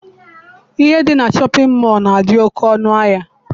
Ihe dị na shọpịn mọọ na-adị oke ọnụahịa.